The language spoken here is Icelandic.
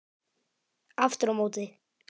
Aftur á móti